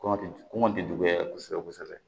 Kɔngɔ de kɔngɔ tɛ juguya kosɛbɛ